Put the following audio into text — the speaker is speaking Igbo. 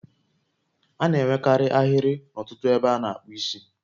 A na-enwekarị ahịrị n'ọtụtụ ebe a na-akpu isi